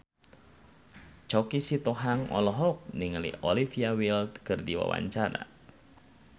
Choky Sitohang olohok ningali Olivia Wilde keur diwawancara